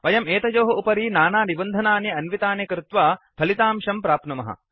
वयं यतयोः उपरि नाना निबन्धनानि अन्वितानि कृत्वा फलितांशान् प्राप्नुमः